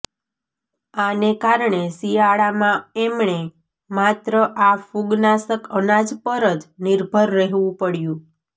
આને કારણે શિયાળામાં એમણે માત્ર આ ફૂગનાશક અનાજ પર જ નિર્ભર રહેવું પડયું